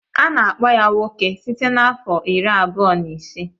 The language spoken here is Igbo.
Ana akpọ ya nwoke site na afọ iri abụọ na ise.